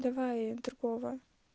давай другого